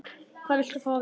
Hvað viltu fá að vita?